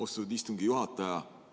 Austatud istungi juhataja!